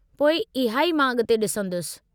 पोइ इहा ई मां अॻिते ॾिसंदुसि।